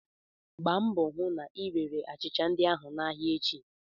Gbaa mbọ hụ na ị rere achịcha ndị ahụ n'ahịa echi!